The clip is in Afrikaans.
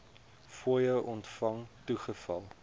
fooie ontvang toegeval